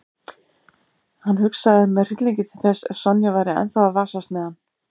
Hann hugsaði með hryllingi til þess ef Sonja væri ennþá að vasast með hann.